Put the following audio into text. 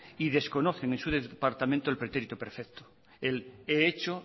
y desconocen en su departamento el pretérito perfecto el he hecho